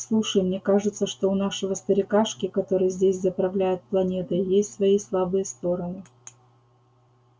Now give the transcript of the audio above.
слушай мне кажется что у нашего старикашки который здесь заправляет планетой есть свои слабые стороны